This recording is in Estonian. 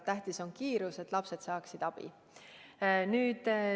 Tähtis on kiirus, et lapsed saaksid kiiresti abi.